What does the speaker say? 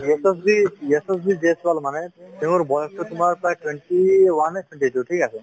যশস্বী যশস্বী জয়ছোৱাল মানে তেওঁৰ বয়সটো তোমাৰ প্ৰায় twenty one ঠিক আছে ,